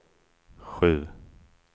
sju